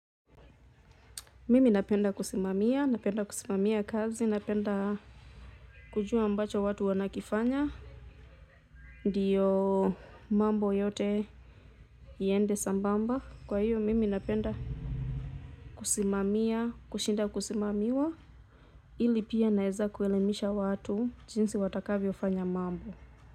Mimi napenda kusimamia napenda kusimamia kazi napenda kujua ambacho watu wanakifanya. Ndiyo mambo yote yaende sambamba kwa hiyo mimi napenda kusimamia kushinda kusimamiwa ili pia naeza kuelimisha watu jinsi watakavyofanya mambo.